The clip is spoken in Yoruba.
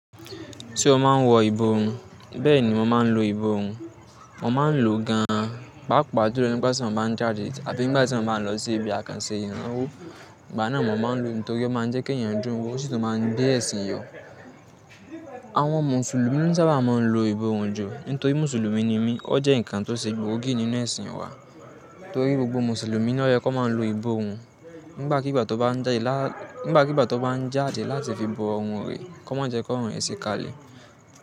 Se ó máa ń wọ ìbò run bẹ́ẹ̀ ni mo máa ń lo ìbò òun. Mo máa ń lo gan an, pàápàá jú lo nígbà tí mo bá ń jáde àbí nígbà tí mo bá ń lọ sí ibi àkànṣe ìnawó. Ìgbà náà mo máa ń lo nítorí ó máa ń jẹ́ kí èèyàn dún wo, ó sì tún máa ń gbé ẹ̀sìn yọ. Àwọn Mùsùlùmí na sábà máa ń lo ìbòrun ju, nítorí Mùsùlùmí ni mí. Ó jẹ́ nǹkan tó ṣe gbòógì nínú ẹ̀sìn wa, torí gbogbo Mùsùlùmí ni o yẹ kó máa lo ìbòrun nígbàkigbà tó bá ń jáde láti fi bo ọ̀run rẹ̀ kó má jẹ́ kórùn rẹ̀ si kalẹ̀.